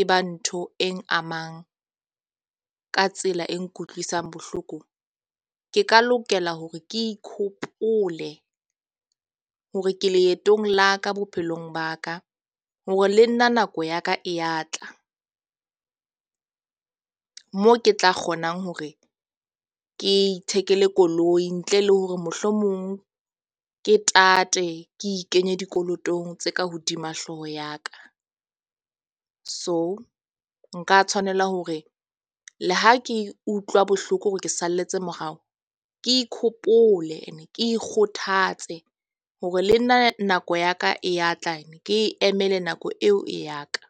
e ba ntho e amang ka tsela e nkutlwisang bohloko. Ke ka lokela hore ke ikhopole hore ke leetong la ka bophelong ba ka. Hore le nna nako ya ka e ya tla mo ke tla kgonang hore ke ithekele koloi. Ntle le hore mohlomong ke tate ke ikenye dikolotong tse ka hodima hlooho ya ka. So, nka tshwanela hore le ha ke utlwa bohloko hore ke salletse morao, ke ikhopole, ke ikgothatse hore le nna nako ya ka e ya tla, ke e emele nako eo ya ka.